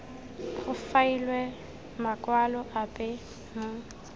go faelwe makwalo ape mo